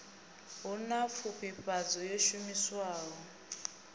hu na pfufhifhadzo yo shumiswaho